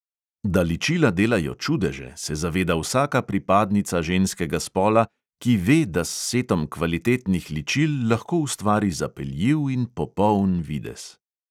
Da ličila delajo čudeže, se zaveda vsaka pripadnica ženskega spola, ki ve, da s setom kvalitetnih ličil lahko ustvari zapeljiv in popoln videz.